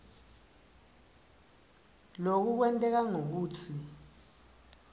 loku kwenteka ngekutsi